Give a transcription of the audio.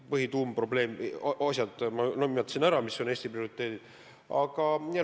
Põhituuma-põhiprobleemi, Eesti prioriteedid, ma juba nimetasin.